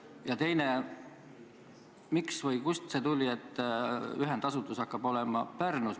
Ja teine: miks või kust see tuli otsus, et ühendasutus hakkab olema Pärnus.